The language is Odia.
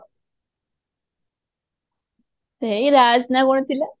ସେଇ ରାଜ ନା କଣ ଥିଲା